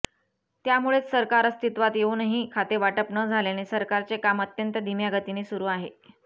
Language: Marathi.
त्यामुळेच सरकार अस्तित्वात येऊनही खातेवाटप न झाल्याने सरकारचे काम अत्यंत धिम्या गतीने सुरू आहे